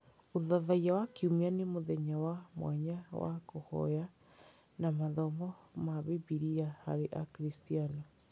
Ũthathaiya wa Kiumia nĩ mũthenya wa mwanya wa kũhoya na mathomo ma Bibiria harĩ Akristiano.